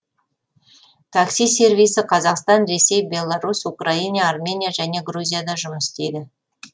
такси сервисі қазақстан ресей беларусь украина армения және грузияда жұмыс істейді